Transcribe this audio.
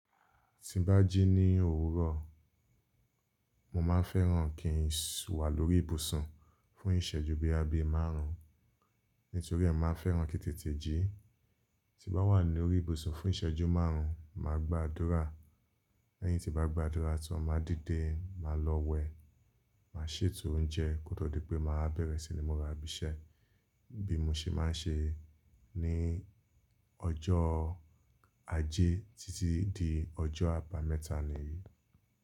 Tí n bá jí ní òwúrọ̀, mo máa ń fẹ́ràn kí n wà lórí ìbùsùn fún ìsẹ́jú bí i abẹ́ márùn-ún nítorí ẹ́, màá fẹ́ràn kí tètè jí. Tí bá wà lórí ìbùsùn fún ìsẹ́jú márùn-ún, màá gba àdúrà. Lẹ́yìn tí bá gba àdúrà tán, màá díde, màá lọ wẹ, màá ṣètò oúnjẹ kó tó di pé màá bẹ̀rẹ̀ sí ní múra bisẹ́ bí mo ṣe máa ń ṣe ní ọjọ́ ajé títí di ọjọ́ àbámẹ́ta ní èyí.